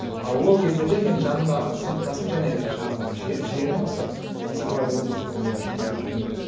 а ол кездерде менің жанымда сыныптасым және жаңағы жиенім осы назарбаев университетінде жұмыс істеп жүрген еді